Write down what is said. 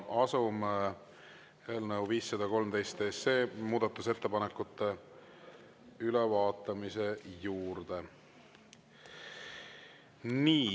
Asume eelnõu 513 muudatusettepanekute ülevaatamise juurde.